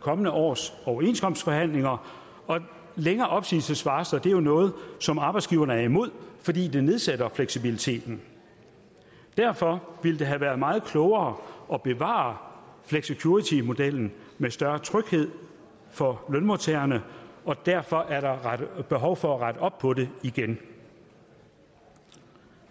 kommende års overenskomstforhandlinger og længere opsigelsesvarsler er noget som arbejdsgiverne er imod fordi det nedsætter fleksibiliteten derfor ville det have været meget klogere at bevare flexicuritymodellen med større tryghed for lønmodtagerne og derfor er der behov for at rette op på det igen